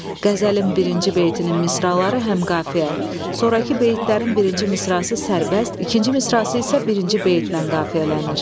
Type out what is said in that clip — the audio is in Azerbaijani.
Qəzəlin birinci beytinin misraları həm qafiyə, sonrakı beytlərin birinci misrası sərbəst, ikinci misrası isə birinci beytlə qafiyələnir.